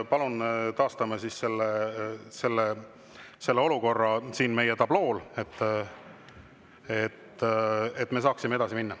Palun taastame selle olukorra siin meie tablool, et me saaksime edasi minna.